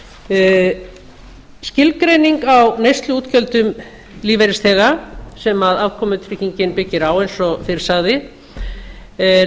á skilgreining á neysluútgjöldum lífeyrisþega sem afkomutryggingin byggir á eins og fyrr sagði lagt er